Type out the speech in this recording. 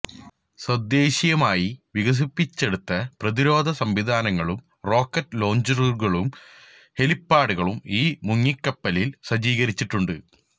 തദ്ദേശീയമായി വികസിപ്പിച്ചെടുത്ത പ്രതിരോധ സംവിധാനങ്ങളും റോക്കറ്റ് ലോഞ്ചറുകളും ഹെലിപ്പാഡും ഈ മുങ്ങിക്കപ്പലില് സജ്ജീകരിച്ചിട്ടുണ്ട്